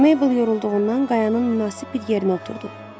Meybl yorulduğundan qayanın münasib bir yerinə oturdu.